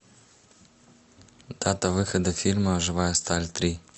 дата выхода фильма живая сталь три